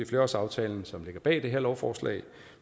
flerårsaftalen som ligger bag det her lovforslag